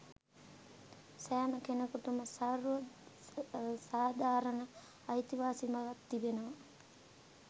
සෑම කෙනකුටම සර්ව සාධාරණ අයිතිවාසිකමක් තිබෙනවා